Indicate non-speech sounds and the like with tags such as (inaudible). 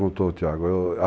(unintelligible) perguntou o Tiago (unintelligible)